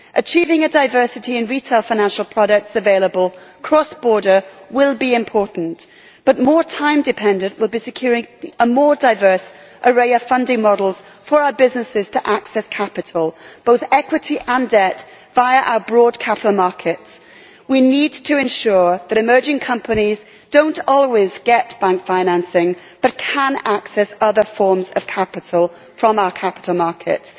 Achieving diversity in retail financial products available cross border will be important, but more time dependent will be securing a more diverse array of funding models for our businesses to access capital, both equity and debt, via our broad capital markets. We need to ensure that while emerging companies do not always get bank financing they can access other forms of capital from our capital markets.